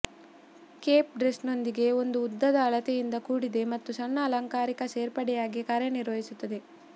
Cape ಡ್ರೆಸ್ನೊಂದಿಗೆ ಒಂದು ಉದ್ದದ ಅಳತೆಯಿಂದ ಕೂಡಿದೆ ಮತ್ತು ಸಣ್ಣ ಅಲಂಕಾರಿಕ ಸೇರ್ಪಡೆಯಾಗಿ ಕಾರ್ಯನಿರ್ವಹಿಸುತ್ತದೆ